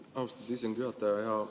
Austatud istungi juhataja!